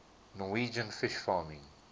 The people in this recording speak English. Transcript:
norwegian fish farming